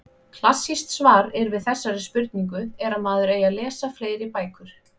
Klassískt svar er við þessari spurningu er að maður eigi að lesa fleiri bækur.